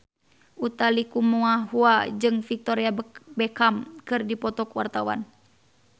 Utha Likumahua jeung Victoria Beckham keur dipoto ku wartawan